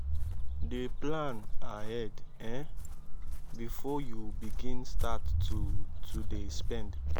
dey plan ahead um bifor yu begin start to to dey spend